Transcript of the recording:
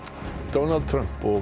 Donald Trump og